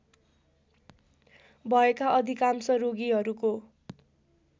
भएका अधिकांश रोगीहरूको